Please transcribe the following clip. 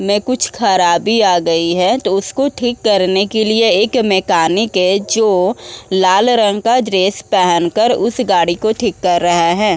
में कुछ खराबी आ गई है तो इसको ठीक करने के लिए एक मैकानिक है जो लाल रंग का ड्रेस पहन कर उस गाड़ी को ठीक कर रहा है।